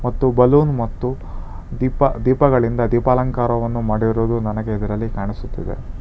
ಮತ್ತು ಬಲೂನ್ ಮತ್ತು ದೀಪ ದೀಪಗಳಿಂದ ದೀಪಾಲಂಕಾರವನ್ನು ಮಾಡಿರುವುದು ನನಗೆ ಇದರಲ್ಲಿ ಕಾಣಿಸುತ್ತದೆ.